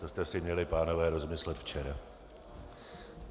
To jste si měli, pánové, rozmyslet včera.